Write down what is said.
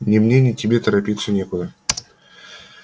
ни мне ни тебе торопиться некуда